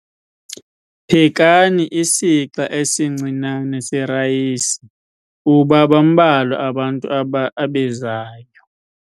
Phekani isixa esincinane serayisi kuba bambalwa abantu abezayo.